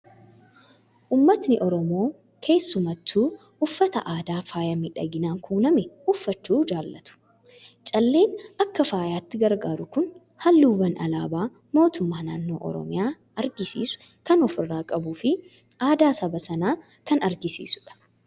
Uummatni Oromoo keessumattuu uffata aadaa faaya miidhaginaan kuulame uffachuu jaalatu. Calleen akka faayaatti gargaaru kun halluuwwan alaabaa mootummaa naannoo Oromiyaa agarsiisu kan ofirraa qabuu fi aadaa saba sanaa kan agarsiisudha.